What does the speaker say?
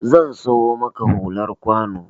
Zan siyo maka hular kwano